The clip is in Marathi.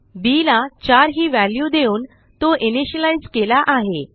bला चार ही व्हॅल्यू देऊन तो इनिशियलाईज केला आहे